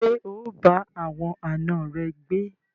Ṣé o bá àwọn àna rẹ gbé?